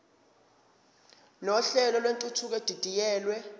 nohlelo lwentuthuko edidiyelwe